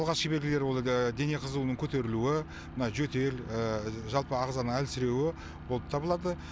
алғашқы белгілері ол әгі дене қызуының көтерілуі мына жөтел жалпы ағзаның әлсіруі болып табылады